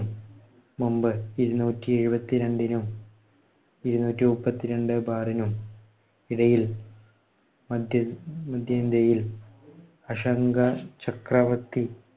മുൻപ് ഇരുനൂറ്റി ഇരുപത്തിരണ്ടിനും ഇരുന്നൂറ്റിമുപ്പത്തിരണ്ട്‍ bar നും ഇടയിൽ മദ്ധ്യ അശാങ്ക ചക്രവർത്തി